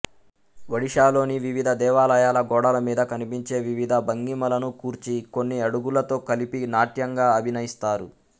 ఒడిషాలోని వివిధ దేవాలయాల గోడల మీద కనిపించే వివిధ భంగిమలను కూర్చి కొన్ని అడుగులతో కలిపి నాట్యంగా అభినయిస్తారు